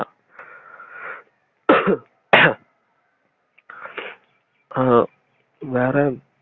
அஹ் வேற